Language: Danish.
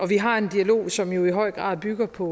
vi har en dialog som i høj grad bygger på